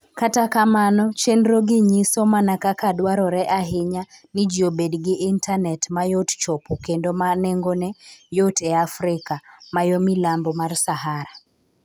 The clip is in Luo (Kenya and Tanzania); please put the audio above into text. Kata kamano, chenrogi nyiso mana kaka dwarore ahinya ni ji obed gi intanet ma yot chopo kendo ma nengone yot e Afrika ma yo milambo mar Sahara.